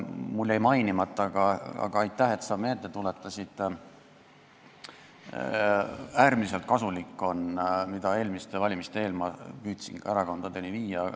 Mul jäi see mainimata, aga aitäh, et sa seda meelde tuletasid, eelmiste valimiste eel ma püüdsin seda ka erakondadele selgeks teha.